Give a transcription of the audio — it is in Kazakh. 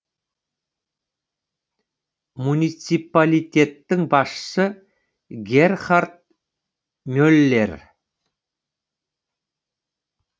муниципалитеттің басшысы герхард меллер